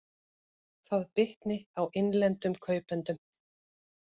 Það bitni á innlendum kaupendum